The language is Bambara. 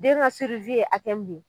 Den ka ye a kɛ mun ye.